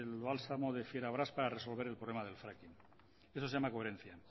el bálsamo de para resolver el problema del fracking eso se llama coherencia